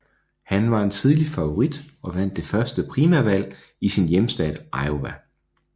Han var en tidlig favorit og vandt det første primærvalg i sin hjemstat Iowa